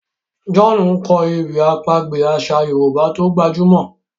John nkọ ewì àpagbè aṣa yorùbá tó gbajúmò